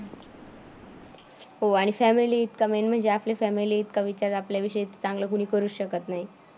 हो आणि फॅमिली इतका मेन म्हणजे आपली फॅमिली इतका विचार आपल्याविषयी चांगलं कुणी करुच शकत नाही.